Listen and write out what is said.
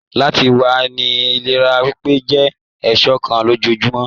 Láti wá ni ìlera pípé, jẹ èso kan lójoojúmọ́.